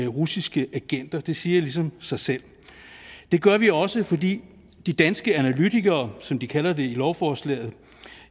russiske agenter det siger ligesom sig selv det gør vi også fordi de danske analytikere som de kaldes lovforslaget